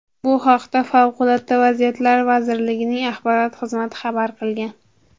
Bu haqda Favqulodda vaziyatlar vazirligining axborot xizmati xabar qilgan .